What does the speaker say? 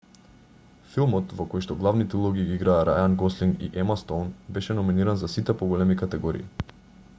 филмот во којшто главните улоги ги играа рајан гослинг и ема стоун беше номиниран за сите поголеми категории